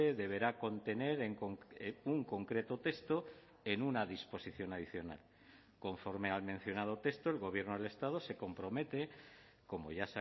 deberá contener un concreto texto en una disposición adicional conforme al mencionado texto el gobierno del estado se compromete como ya